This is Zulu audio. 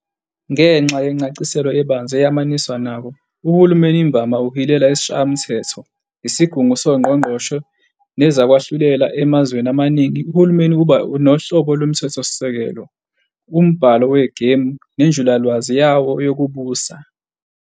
Ngenxa yencaciselo ebanzi eyamaniswa nawo, uhulumeni imvama uhilela isishayamthetho, isigungu songqongqoshe, nezokwahlulela. Emazweni amaningi, uhulumeni uba nohlobo lomthethosisekelo, umbhalo wegemu nenjulalwazi yawo yokubusa.